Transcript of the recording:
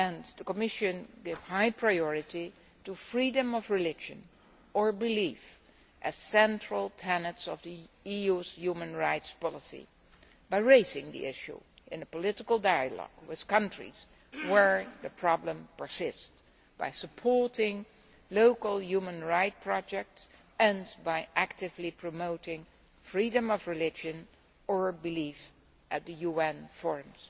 The Commission gives high priority to freedom of religion or belief as central tenets of the EU's human rights policy by raising the issue in political dialogue with countries where the problem persists, by supporting local human rights projects and by actively promoting freedom of religion or belief at the UN forums.